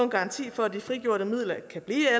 garanti for at de frigjorte midler kan blive